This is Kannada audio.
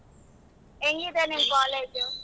ಎಂಗಿದೆ ನಿಮ್ college ಉ.